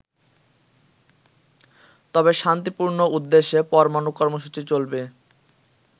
তবে শান্তিপূর্ণ উদ্দেশ্যে পরমানু কর্মসূচি চলবে।